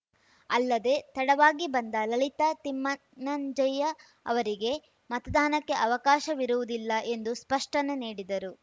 ಅಲ್ಲದೆ ತಡವಾಗಿ ಬಂದ ಲಲಿತಾ ತಿಮ್ಮನಂಜಯ್ಯ ಅವರಿಗೆ ಮತದಾನಕ್ಕೆ ಅವಕಾಶವಿರುವುದಿಲ್ಲ ಎಂದೂ ಸ್ಪಷ್ಟನೆ ನೀಡಿದರು